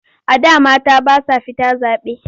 A da mata ba sa fita zaɓe.